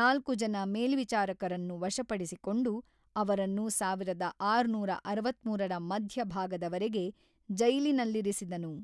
ನಾಲ್ಕು ಜನ ಮೇಲ್ವಿಚಾರಕರನ್ನು ವಶಪಡಿಸಿಕೊಂಡು, ಅವರನ್ನು ಸಾವಿರದ ಆರುನೂರ ಅರವತ್ತ್ಮೂರರ ಮಧ್ಯಭಾಗದವರೆಗೆ ಜೈಲಿನಲ್ಲಿರಿಸಿದನು.